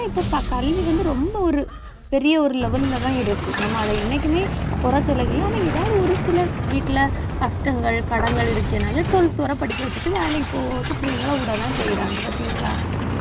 இப்ப கல்வி வந்து, ரொம்ப ஒரு பெரிய ஒரு level லதான் இருக்கு. நம்ம அதை என்னைக்குமே குறை சொல்லலை ஆனா, ஏதாவது ஒரு சிலர் வீட்டுல கஷ்டங்கள் கடன்கள் இருக்கேனால twelfth வர படிக்க வச்சுட்டு வேலைக்கு போறதுக்கு பிள்ளைங்களை விடதான் செய்யறாங்க பார்த்தீங்களா